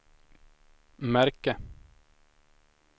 märke